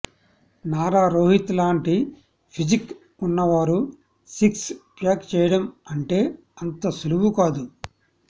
నారా రోహిత్ లాంటి పిజిక్ వున్నవారు six pack చేయడం అంటే అంత సులువు కాదు